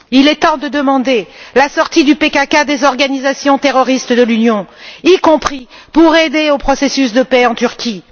Il est temps de demander la sortie du PKK des organisations terroristes de l'Union, y compris pour aider au processus de paix en Turquie.